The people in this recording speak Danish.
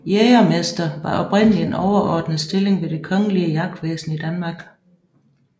Jægermester var oprindelig en overordnet stilling ved det kongelige jagtvæsen i Danmark